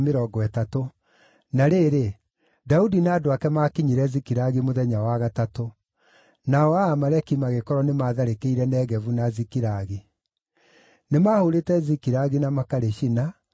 Na rĩrĩ, Daudi na andũ ake maakinyire Zikilagi mũthenya wa gatatũ. Nao Amaleki magĩkorwo nĩ matharĩkĩire Negevu na Zikilagi. Nĩmahũrĩte Zikilagi na makarĩcina,